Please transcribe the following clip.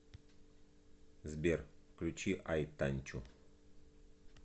сбер включи ай танчу